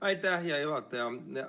Aitäh, hea juhataja!